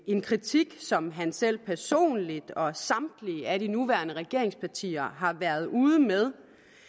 en kritik som han selv personligt og samtlige af de nuværende regeringspartier har været ude med